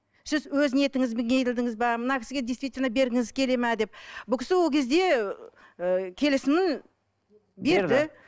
сіз өз ниетіңізбен келдіңіз бе мына кісіге действительно бергіңіз келеді ме деп бұл кісі ол кезде ы келісімін берді